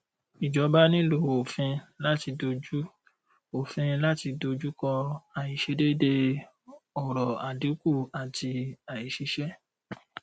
ìjọba nílò òfin láti dojú òfin láti dojú kọ àìsedéédéé ọrọ àdínkù àti aìsísẹ